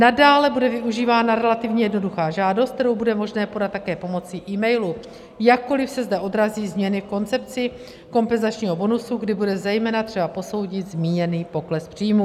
Nadále bude využívána relativně jednoduchá žádost, kterou bude možné podat také pomocí emailu, jakkoli se zde odrazí změny v koncepci kompenzačního bonusu, kdy bude zejména třeba posoudit zmíněný pokles příjmů.